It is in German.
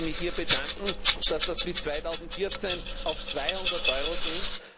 Ich möchte mich hier bedanken, dass das bis 2014 auf 200 Euro sinkt.